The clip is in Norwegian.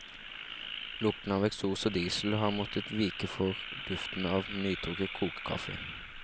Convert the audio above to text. Lukten av eksos og diesel har måttet vike for duften av nytrukket kokekaffe.